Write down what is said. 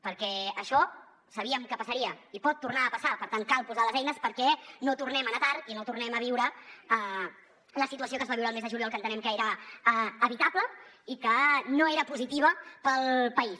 perquè això sabíem que passaria i pot tornar a passar per tant cal posar les eines perquè no tornem a anar tard i no tornem a viure la situació que es va viure el mes de juliol que entenem que era evitable i que no era positiva per al país